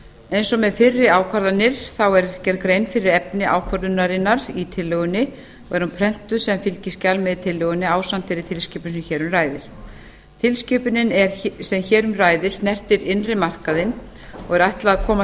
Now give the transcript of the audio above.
eins og með fyrri ákvarðanir er gerð grein fyrir efni ákvörðunarinnar í tillögunni og er hún prentuð sem fylgiskjal með tillögunni ásamt þeirri tilskipun sem hér um ræðir tilskipunin sem hér um ræðir snertir innri markaðinn og er ætlað að koma